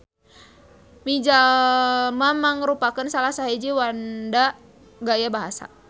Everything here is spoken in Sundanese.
Mijalma mangrupakeun salasahiji wanda gaya basa.